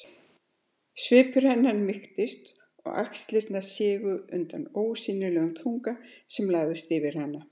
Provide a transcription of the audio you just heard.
Svipur hennar mýktist og axlirnar sigu undan ósýnilegum þunga sem lagðist yfir hana.